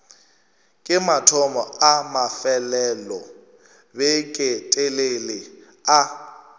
ke mathomo a mafelelobeketelele a